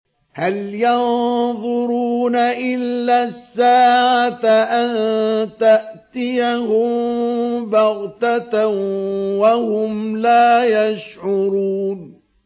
هَلْ يَنظُرُونَ إِلَّا السَّاعَةَ أَن تَأْتِيَهُم بَغْتَةً وَهُمْ لَا يَشْعُرُونَ